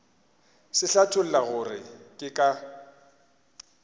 se hlatholla gore ke ka